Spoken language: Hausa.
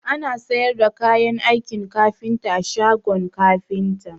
Ana sayar da kayan aikin kafinta a shagon kafinta